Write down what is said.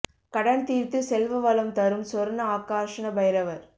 கடன் தீர்த்து செல்வ வளம் தரும் சொர்ண ஆகார்ஷண பைரவர்